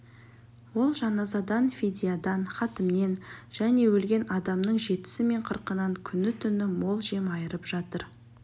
олар жаназадан фидиядан хатімнен және өлген адамның жетісі мен қырқынан күні-түні мол жем айырып жатыр